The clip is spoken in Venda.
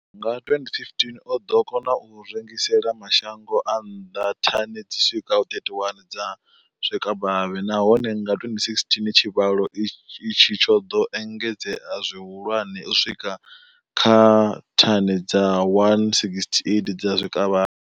Nga 2015, o ḓo kona u rengisela mashango a nnḓa thani dzi swikaho 31 dza zwikavhavhe, nahone nga 2016 tshivhalo itshi tsho ḓo engedzea zwihulwane u swika kha thani dza 168 dza zwikavhavhe.